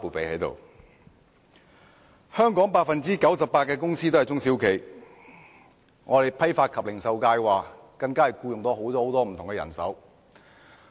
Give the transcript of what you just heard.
香港 98% 的公司都是中小企，我所代表的批發及零售界更僱用了很多員工。